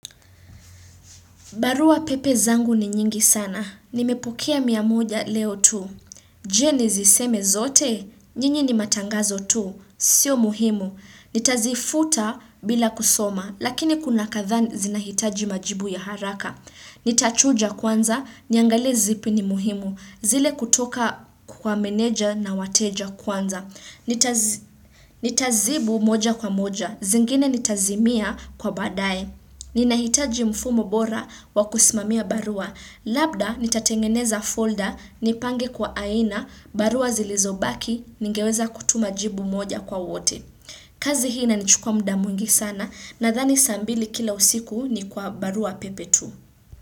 Barua pepe zangu ni nyingi sana. Nimepokea mia moja leo tu. Je niziseme zote? Nyinyi ni matangazo tu. Sio muhimu. Nitazifuta bila kusoma. Lakini kuna kadhaa zinahitaji majibu ya haraka. Nitachuja kwanza. Niangalie zipi ni muhimu. Zile kutoka kwa meneja na wateja kwanza. Nitazibu moja kwa moja. Zingine nitazimia kwa baadaye. Ni nahitaji mfumo bora wa kusimamia barua. Labda nitatengeneza folder, nipange kwa aina, barua zilizobaki, ningeweza kutuma jibu moja kwa wote. Kazi hii inanichukua muda mwingi sana nadhani saa mbili kila usiku ni kwa barua pepe tu.